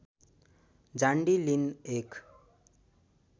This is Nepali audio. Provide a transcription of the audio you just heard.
जान्डी लिन एक